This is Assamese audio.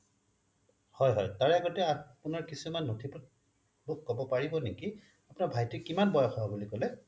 হয় হয় তাৰ আগতে আপোনাৰ কিছুমান নথি পত্ৰ কব পাৰিব নেকি আপোনাৰ ভাইটি কিমান বয়সৰ বুলি কলে